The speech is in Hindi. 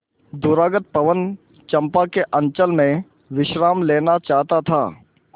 दूरागत पवन चंपा के अंचल में विश्राम लेना चाहता था